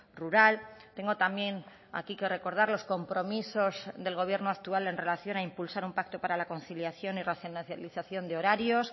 rural tengo también aquí que recordar los compromisos del gobierno actual en relación a impulsar un pacto para la conciliación y racionalización de horarios